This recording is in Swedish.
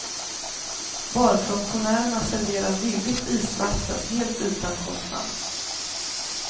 Barfunktionärerna serverar villigt isvatten helt utan kostnad.